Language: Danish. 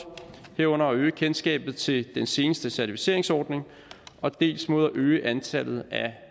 herunder at øge kendskabet til den seneste certificeringsordning og dels mod at øge antallet af